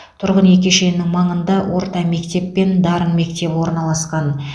тұрғын үй кешенінің маңында орта мектеп пен дарын мектебі орналасқан